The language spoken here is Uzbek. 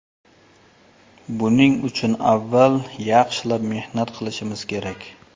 Buning uchun avval yaxshilab mehnat qilishimiz kerak.